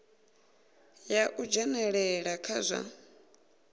ya u dzhenelela kha zwa